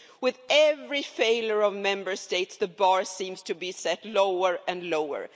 With every failure of the Member States the bar seems to be set lower and lower.